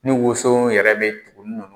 Ni woso yɛrɛ bɛ tugun ninnu